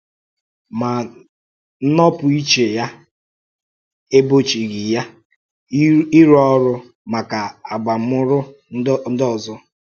Mà nnọ́pụ̀íche ya um égbòchìghị ya um írụ́ ọ̀rụ́ um maka àbàmùrụ̀ ndị òzò.